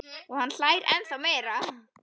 Og hann hlær ennþá meira.